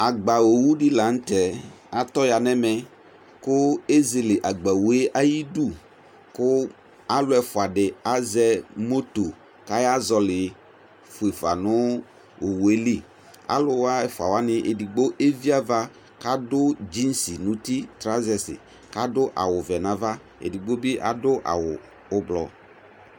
Agba owu dɩ la nʋ tɛ atɔ ya nʋ ɛmɛ bɩ kʋ ezele agba owu yɛ ayidu kʋ alʋ ɛfʋa dɩ azɛ moto kʋ ayazɔɣɔlɩ fue fa nʋ owu yɛ li Alʋ wa ɛfʋa wanɩ edigbo evi ava kʋ adʋ dzinsi nʋ uti trazɛsɩ kʋ adʋ awʋvɛ nʋ ava Edigbo bɩ adʋ awʋ ʋblɔ